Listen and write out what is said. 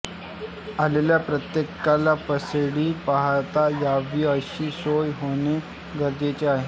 आलेल्या प्रत्येकाला पासेडी पाहता यावी अशी सोय होणे गरजेचे आहे